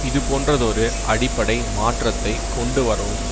இதுபோன்றதொரு அடிப்படை மாற்றத்தை கொண்டு வரவும்